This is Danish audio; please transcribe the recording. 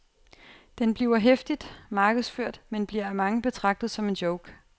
Den bliver heftigt markedsført, men bliver af mange betragtet som en joke.